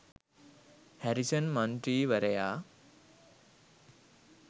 Harrison මන්ත්‍රීවරයා